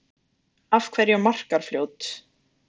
Af hverju Markarfljót?